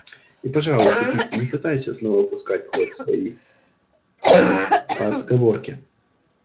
и пожалуйста питти не пытайся снова пускать в ход свои отговорки